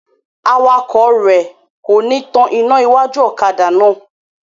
Awakọ̀ rẹ kò ní tán ina iwájú ọ̀kadà náà.